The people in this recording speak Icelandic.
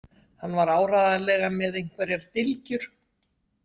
Hann var áreiðanlega með einhverjar dylgjur.